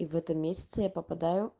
и в этом месяце я попадаю